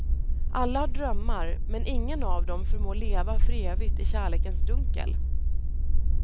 Alla har drömmar men ingen av dem förmår leva för evigt i kärlekens dunkel.